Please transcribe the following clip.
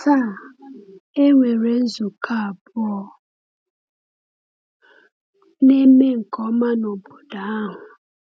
Taa, e nwere nzukọ abụọ na-eme nke ọma n’obodo ahụ.